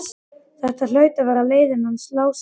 Þetta hlaut að vera leiðið hans Lása.